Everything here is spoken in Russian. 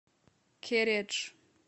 кередж